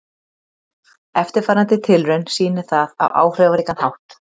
Eftirfarandi tilraun sýnir það á áhrifaríkan hátt.